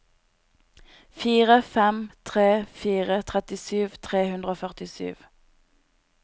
fire fem tre fire trettisju tre hundre og førtisju